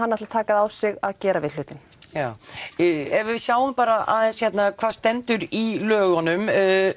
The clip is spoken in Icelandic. hann ætli að taka það á sig að gera við hlutinn já ef við sjáum bara aðeins hvað stendur í lögunum